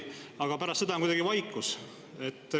Aga pärast seda on vaikus.